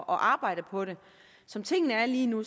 arbejde på det som tingene er lige nu